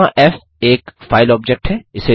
यहाँ फ़ एक फाइल ऑब्जेक्ट है